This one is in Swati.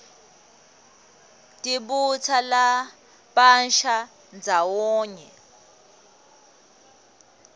tibutsa labasha ndzawonye